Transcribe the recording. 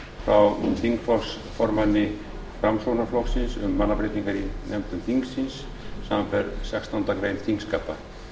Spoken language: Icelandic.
frá þingflokksformanni framsóknarflokksins um mannabreytingar í nefndum þingsins samanber sextándu grein þingskapa